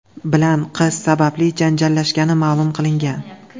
bilan qiz sababli janjallashgani ma’lum qilingan.